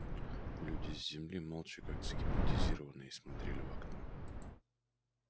люди с земли молча как загипнотизированные смотрели в окно